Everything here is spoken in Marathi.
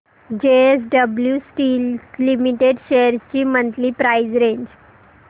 जेएसडब्ल्यु स्टील लिमिटेड शेअर्स ची मंथली प्राइस रेंज